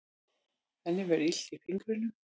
Henni verður illt í fingrunum.